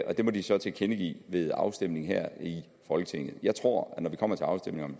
det må de så tilkendegive ved afstemningen her i folketinget jeg tror at når vi kommer til afstemningen